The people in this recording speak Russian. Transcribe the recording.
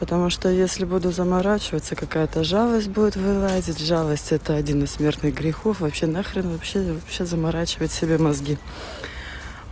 потому что если буду заморачиваться какая-то жалость будет вылазить жалость это один из смертных грехов вообще на хрен вообще вообще заморачиваться себе мозги